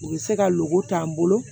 U bɛ se ka golo t'an bolo